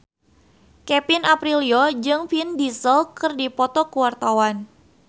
Kevin Aprilio jeung Vin Diesel keur dipoto ku wartawan